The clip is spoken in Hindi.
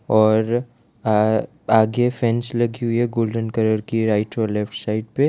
और आ आगे फ्रेंच लिखी हुई है गोल्डन कलर की राइट और लेफ्ट साइड पे --